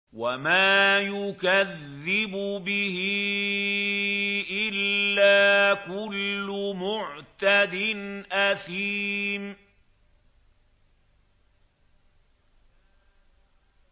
وَمَا يُكَذِّبُ بِهِ إِلَّا كُلُّ مُعْتَدٍ أَثِيمٍ